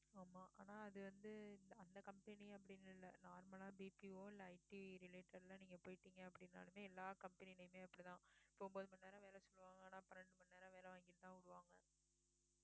ஆமா ஆனா அது வந்து அந்த company அப்படின்னு இல்ல normal லா BPO இல்ல IT related ஆ எல்லாம் நீங்க போயிட்டீங்க அப்படின்னாலுமே எல்லா company யிலயுமே அப்படிதான் இப்ப ஒன்பது மணி நேரம் வேலை சொல்லுவாங்க ஆனா பன்னிரண்டு மணி நேரம் வேலை வாங்கிட்டுதான் விடுவாங்க